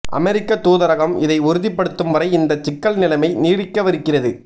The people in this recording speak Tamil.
அமெரிக்க தூதரகம் இதை உறுதிப்படுத்தும் வரை இந்த சிக்கல் நிலைமை நீடிக்கவிருக்கிறது